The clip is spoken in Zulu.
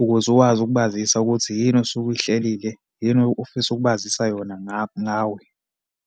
ukuze ukwazi ukubazisa ukuthi yini osuke uyihlelile, yini ofisa ukubazisa yona ngawe.